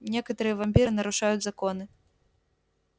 некоторые вампиры нарушают законы